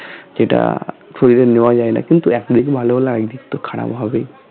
যেটা প্রয়োজন নেওয়া যায় না কিন্তু এক দিক ভালো হলে আর এক দিকতো খারাপ হবেই